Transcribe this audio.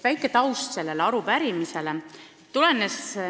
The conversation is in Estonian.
Veidi selle arupärimise taustast.